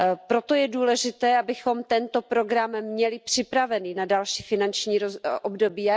Proto je důležité, abychom tento program měli připravený na další finanční období.